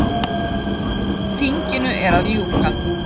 Þinginu er að ljúka.